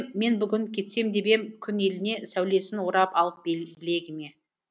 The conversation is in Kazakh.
мен бүгін кетсем деп ем күн еліне сәулесін орап алып білегіме